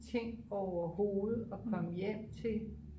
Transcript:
ting overhovedet at komme hjem til